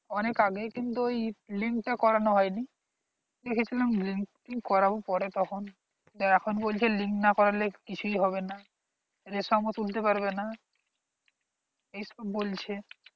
অনেক আগে কিন্তু link তা পাতানো হয়নি তা নাখন বলছে link না করলে কিছুই হবেনা ration ও তুলতে পারবেনা এই সব বলছে